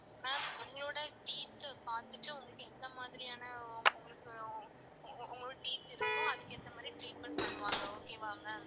Ma'am உங்களோட teeth ஆ பாத்துட்டு உங்களுக்கு எந்த மாதிரியான உங்களுக்கு உங்களுக்கு teeth இருக்கோ அதுக்கு ஏத்த மாதிரி treatment பண்ணுவாங்க okay வா ma'am